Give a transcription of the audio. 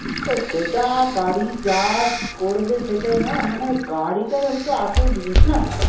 সেটা গাড়ি যা করবে সেটাই না, মানে গাড়িটাই হচ্ছে আসল জিনিস না